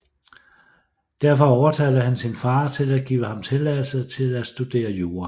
Derfor overtalte han sin far til at give ham tilladelse til at studere jura